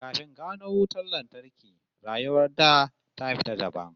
Kafin gano wutar lantarki, rayuwar da ta fita dabam